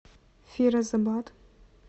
фирозабад